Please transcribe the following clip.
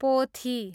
पोथी